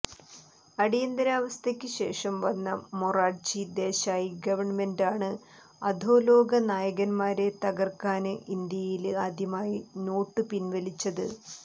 അടിയന്തിരാവസ്ഥക്ക് ശേഷം വന്ന മൊറാര്ജി ദേശായി ഗവണ്മെന്റാണ് അധോലോക നായകന്മാരെ തകര്ക്കാന് ഇന്ത്യയില് ആദ്യമായി നോട്ടു പിന്വലിച്ചത്